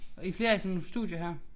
I flere af sådan nogle studier her